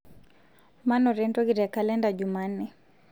manoto entoki te kalenda jumanne